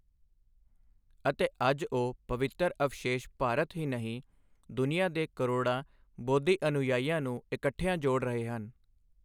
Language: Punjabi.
ਅਤੇ ਅੱਜ ਉਹ ਪਵਿੱਤਰ ਅਵਸ਼ੇਸ਼ ਭਾਰਤ ਹੀ ਨਹੀਂ, ਦੁਨੀਆ ਦੇ ਕਰੋੜਾਂ ਬੋਧੀ ਅਨੁਯਾਈਆਂ ਨੂੰ ਇਕੱਠਿਆਂ ਜੋੜ ਰਹੇ ਹਨ।